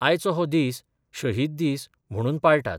आयचो हो दीस शहीद दीस म्हणून पाळटात.